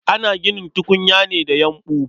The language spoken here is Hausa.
Ana ginin tukunya ne da yumɓu.